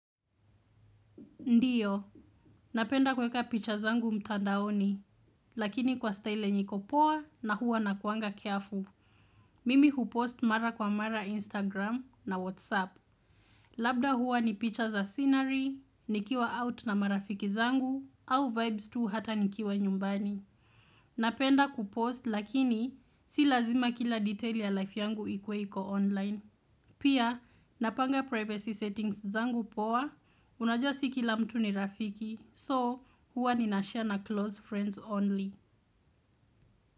Ndiyo, napenda kuweka picha zangu mtandaoni, lakini kwa style yenye iko poa na huwa nakuanga careful. Mimi hupost mara kwa mara Instagram na WhatsApp. Labda huwa ni picha za scenery, nikiwa out na marafiki zangu, au vibes tu hata nikiwa nyumbani. Napenda kupost lakini, si lazima kila detail ya life yangu ikuwe iko online. Pia, napanga privacy settings zangu poa, unajua si kila mtu ni rafiki. So, huwa nina share na close friends only.